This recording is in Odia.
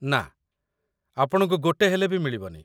ନା, ଆପଣଙ୍କୁ ଗୋଟେ ହେଲେ ବି ମିଳିବନି ।